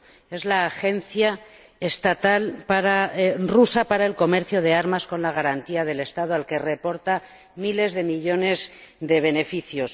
Es la agencia estatal rusa para el comercio de armas con la garantía del Estado, al que reporta miles de millones de beneficios.